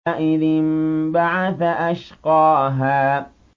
إِذِ انبَعَثَ أَشْقَاهَا